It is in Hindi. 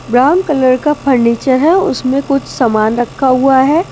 ब्राउन कलर का फर्नीचर है उसमें कुछ सामान रखा हुआ है ।